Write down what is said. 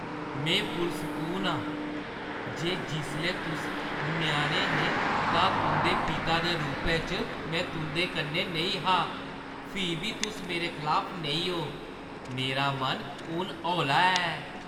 में पुरसकून आं जे जिसलै तुस ञ्याणे हे तां तुंʼदे पिता दे रूपै च में तुं'दे कन्नै नेईं हा, फ्ही बी तुस मेरे खलाफ नेईं ओ। मेरा मन हून हौला ऐ।